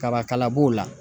Kaba kala b'o la.